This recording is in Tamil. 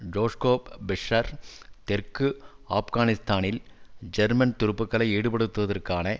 ஜொஸ்கோ பிஷ்ஷசர் தெற்கு ஆப்கானிஸ்தானில் ஜெர்மன் துருப்புக்களை ஈடுபடுத்துவதற்கான